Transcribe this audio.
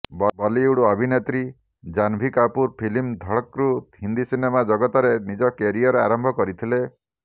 ବଲିଉଡ ଅଭିନେତ୍ରୀ ଜାନଭୀ କପୁର ଫିଲ୍ମ ଧଡକରୁ ହିନ୍ଦି ସିନେମା ଜଗତରେ ନିଜ କ୍ୟାରିଅର ଆରମ୍ଭ କରିଥିଲେ